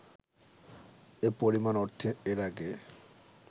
এ পরিমাণ অর্থ এর আগে